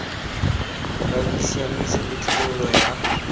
la bosiamisi le tlhabololo ya